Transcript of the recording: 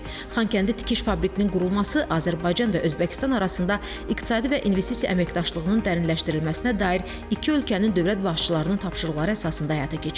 Xankəndi tikiş fabriklinin qurulması Azərbaycan və Özbəkistan arasında iqtisadi və investisiya əməkdaşlığının dərinləşdirilməsinə dair iki ölkənin dövlət başçılarının tapşırıqları əsasında həyata keçirilib.